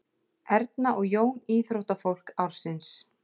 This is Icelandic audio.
Erna og Jón íþróttafólk ársins